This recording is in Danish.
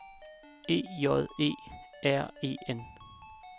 E J E R E N